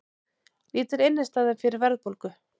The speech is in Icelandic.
Lítil innistæða fyrir verðbólgu